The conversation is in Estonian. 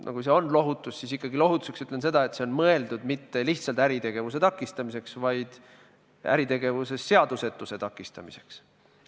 Aga kui see on lohutus, siis ikkagi ütlen, et see on mõeldud mitte lihtsalt äritegevuse takistamiseks, vaid äritegevuses seadusetuse takistamiseks.